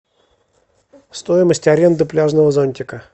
стоимость аренды пляжного зонтика